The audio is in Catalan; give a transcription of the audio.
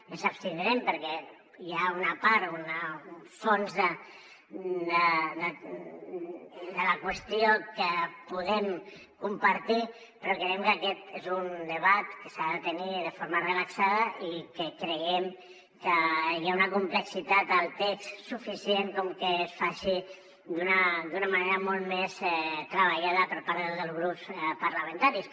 ens abstindrem perquè hi ha una part un fons de la qüestió que podem compartir però creiem que aquest és un debat que s’ha de tenir de forma relaxada i que creiem que hi ha una complexitat al text suficient com perquè es faci d’una manera molt més treballada per part de tots els grups parlamentaris